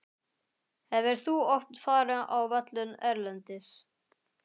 Hefur þú oft farið á völlinn erlendis?